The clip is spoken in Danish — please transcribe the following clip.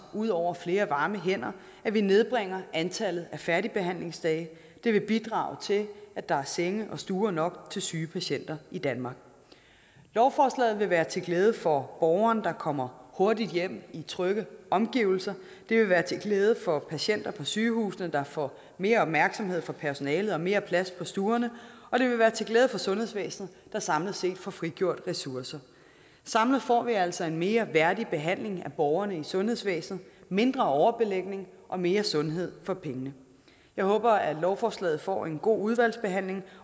ud over flere varme hænder at vi nedbringer antallet af færdigbehandlingsdage det vil bidrage til at der er senge og stuer nok til syge patienter i danmark lovforslaget vil være til glæde for borgeren der kommer hurtigt hjem i trygge omgivelser det vil være til glæde for patienter på sygehusene der får mere opmærksomhed fra personalet og mere plads på stuerne og det vil være til glæde for sundhedsvæsenet der samlet set får frigjort ressourcer samlet får vi altså en mere værdig behandling af borgerne i sundhedsvæsenet mindre overbelægning og mere sundhed for pengene jeg håber at lovforslaget får en god udvalgsbehandling